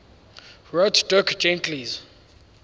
wrote dirk gently's